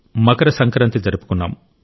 మకర సంక్రాంతి జరుపుకున్నాం